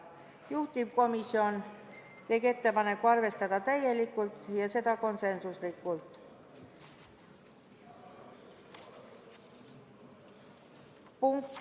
Juhtivkomisjon tegi ettepaneku arvestada seda muudatusettepanekut täielikult, ja seda konsensuslikult.